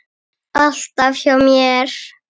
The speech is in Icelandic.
Alltaf hjá mér.